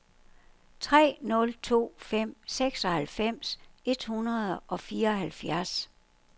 tre nul to fem seksoghalvfems et hundrede og fireoghalvfjerds